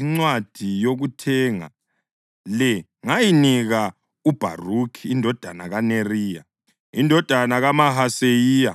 incwadi yokuthenga le ngayinika uBharukhi indodana kaNeriya, indodana kaMahaseyiya;